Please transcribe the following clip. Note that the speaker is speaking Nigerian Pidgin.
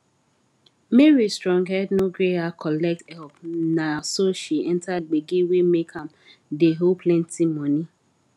mary strong head no gree her collect help na so she enter gbege wey make am dey owe plenty moni